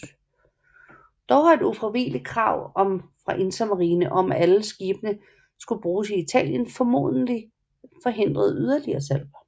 Dog har et ufravigeligt krav fra Intermarine om at alle skibene skulle bygges i Italien formentligt forhindret yderligere salg